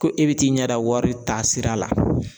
Ko e be t'i ɲɛ da wari taasira la